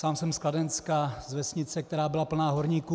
Sám jsem z Kladenska, z vesnice, která byla plná horníků.